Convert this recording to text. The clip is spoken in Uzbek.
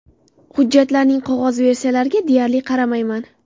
Hujjatlarning qog‘oz versiyalariga deyarli qaramayman.